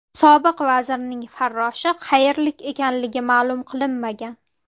Sobiq vazirning farroshi qayerlik ekanligi ma’lum qilinmagan.